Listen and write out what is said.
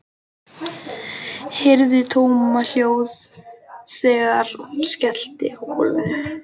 Heyri tómahljóð þegar hún skellur á gólfinu.